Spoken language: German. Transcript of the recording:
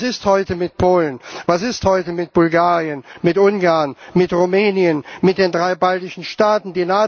Was ist heute mit Polen? Was ist heute mit Bulgarien, mit Ungarn, mit Rumänien und mit den drei baltischen Staaten?